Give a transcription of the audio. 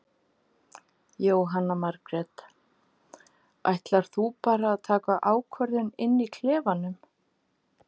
Jóhanna Margrét: Ætlar þú bara að taka ákvörðun inn í klefanum?